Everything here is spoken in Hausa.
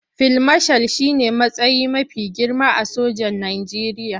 Fil mashal shi ne matsayi mafi girma a sojan Najeriya.